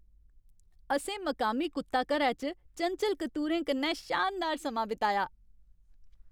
असें मकामी कुत्ता घरै च चंचल कतूरें कन्नै शानदार समां बिताया।